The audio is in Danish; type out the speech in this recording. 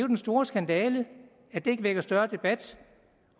den store skandale at det ikke vækker større debat